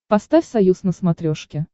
поставь союз на смотрешке